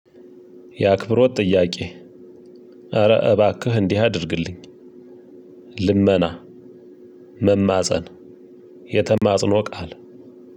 የአክብሮት ጥያቄ ኧረ እባክህ እንዲህ አድርግልኝ ልመና መማፀን የተማፅኖ ቃል